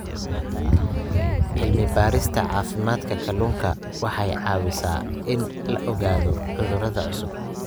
Cilmi-baarista caafimaadka kalluunka waxay caawisaa in la ogaado cudurro cusub.